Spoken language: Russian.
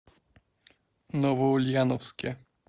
новоульяновске